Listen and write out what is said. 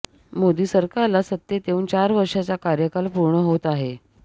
मोदी सरकारला सत्तेत येऊन चार वर्षांचा कार्यकाल पूर्ण होत आहे